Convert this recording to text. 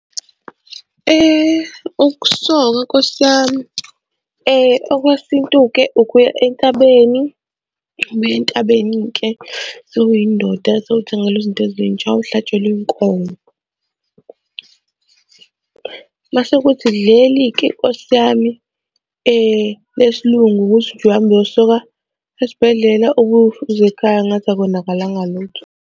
Ukusokwa Nkosi yami okwesintu-ke ukuya entabeni, ubuye entabeni-ke sewuyindoda, sewuthengelwa izinto ezintsha uhlatshelwe inkomo. Mase kuthi leli-ke Nkosi yami lesilungu ukuthi nje uhamba uyosoka esibhedlela ubuye futhi uze ekhaya ngathi akonakalanga lutho.